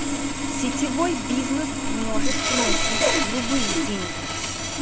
сетевой бизнес может приносить любые деньги